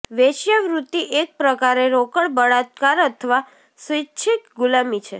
વેશ્યાવૃત્તિ એક પ્રકારે રોકડ બળાત્કાર અથવા સ્વિચ્છિક ગુલામી છે